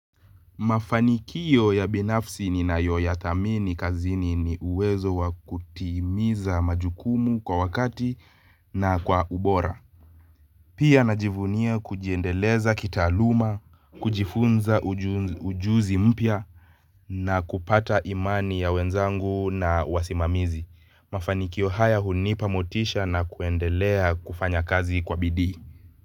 Mafanikio ya binafsi ninayoyathamini kazini ni uwezo wa kutimiza majukumu kwa wakati na kwa ubora. Pia najivunia kujiendeleza kitaaluma, kujifunza ujuzi mpya na kupata imani ya wenzangu na wasimamizi. Mafanikio haya hunipa motisha na kuendelea kufanya kazi kwa bidii.